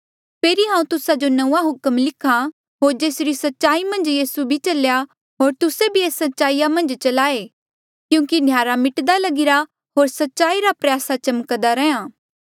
फेरी हांऊँ तुस्सा जो नंऊँआं हुक्म लिख्हा होर जेसरी सच्चाई मन्झ यीसू भी चलेया होर तुस्से भी एस सच्चाई मन्झ चलाए क्यूंकि न्हयारा मिट्दा लगीरा होर सच्चाई रा प्रयासा चमक्दा रैंहयां